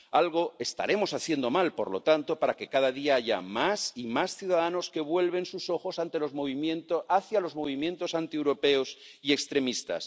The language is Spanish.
Algo estaremos haciendo mal, por lo tanto, para que cada día haya más y más ciudadanos que vuelven sus ojos hacia los movimientos antieuropeos y extremistas.